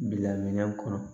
Bila minɛ kɔnɔ